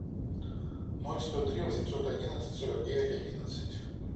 ноль сто три восемьсот одиннадцать сорок девять одиннадцать